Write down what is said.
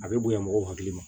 A bɛ bonya mɔgɔw hakili ma